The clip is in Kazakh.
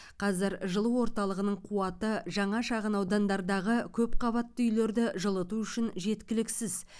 қазір жылу орталығының қуаты жаңа шағын аудандардағы көпқабатты үйлерді жылыту үшін жеткіліксіз